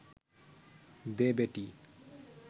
দে বেটী